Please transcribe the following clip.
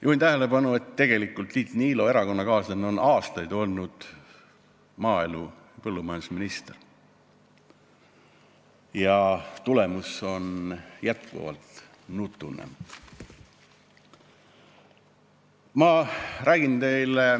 Juhin tähelepanu, et Tiit Niilo erakonnakaaslane on aastaid olnud maaelu- või põllumajandusminister, kuid tulemus on jätkuvalt nutune.